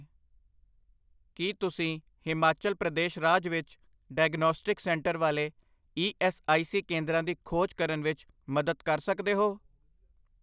ਕੀ ਤੁਸੀਂ ਹਿਮਾਚਲ ਪ੍ਰਦੇਸ਼ ਰਾਜ ਵਿੱਚ ਡਾਇਗਨੌਸਟਿਕਸ ਸੈਂਟਰ ਵਾਲੇ ਈ ਐੱਸ ਆਈ ਸੀ ਕੇਂਦਰਾਂ ਦੀ ਖੋਜ ਕਰਨ ਵਿੱਚ ਮਦਦ ਕਰ ਸਕਦੇ ਹੋ?